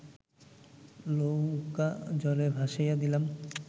নৌকা জলে ভাসাইয়া দিলাম